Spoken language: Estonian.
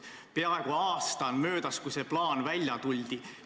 Peaaegu aasta on möödas sellest, kui selle plaaniga välja tuldi.